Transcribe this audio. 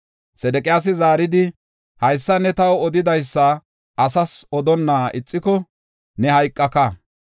Sedeqiyaasi zaaridi, “Haysa ne taw odidaysa asas odonna ixiko ne hayqaka.